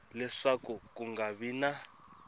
leswaku ku nga vi na